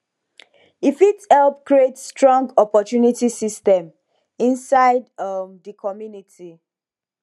e fit help create strong sopport system inside um di community